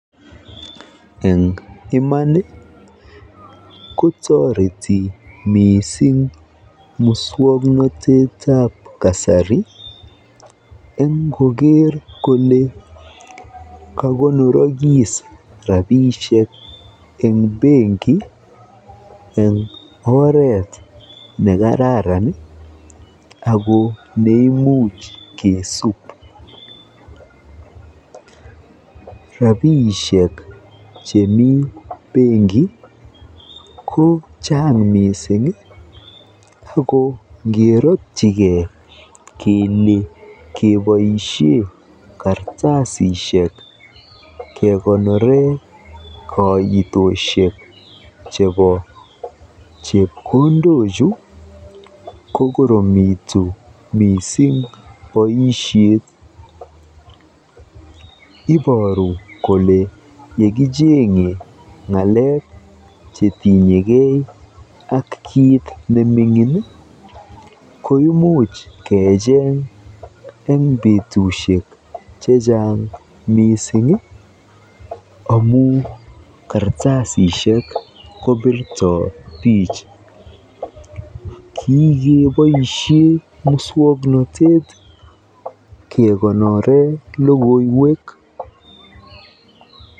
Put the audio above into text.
Eng iman ko toriti mising muswoknotetab kasari eng koker kole kakonorokis rabiinik eng banki eng oret nekararan ako neimuch kesuub. Rabiisiek chemi banki kochaang miising ako ngerotyikei kele keboisie kartasisiek kekonore koitosiek chebo chepkondochu kokoromitu mising boisiet. Iboru kole yekicheng'e ng'alek chetinyekei ak kiit kitikin koimuch kecheng eng betusiek chechang mising amu kartasisiek kobirto bich. Kikeboisie muswoknotet kekonore logoiwek.